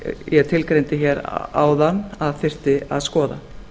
ég tilgreindi áðan að þyrfti að skoða